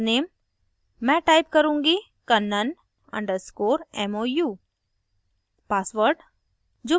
और username मैं type करुँगी kannan _ mou